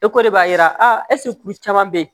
E ko de b'a yira kuru caman be yen